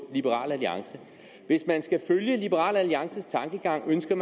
liberal alliance hvis man skal følge liberal alliances tankegang ønsker